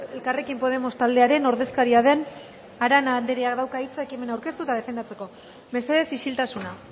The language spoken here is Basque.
elkarrekin podemos taldearen ordezkaria den arana andreak dauka hitza ekimena aurkeztu eta defendatzeko mesedez isiltasuna